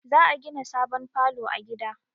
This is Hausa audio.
Za a gina sabon falo a gida